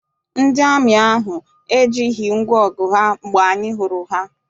Ndị amị ahụ ejighị ngwaọgụ ha mgbe anyị hụrụ ha.